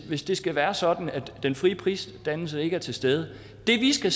hvis det skal være sådan at den frie prisdannelse ikke er til stede det vi skal